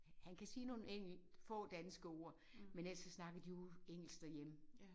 Han kan sige nogle enkelt få danske ord men ellers så snakker de jo engelsk derhjemme